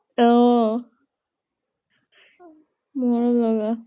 অ মৰম লগা।